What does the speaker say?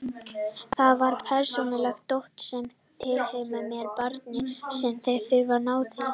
Þar var persónulegt dót sem tilheyrði mér og barninu sem ég þurfti nauðsynlega að nálgast.